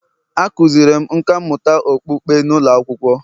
A kụziiri m nkà mmụta okpukpe n’ụlọ akwụkwọ